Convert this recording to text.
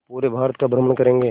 पूरे भारत का भ्रमण करेंगे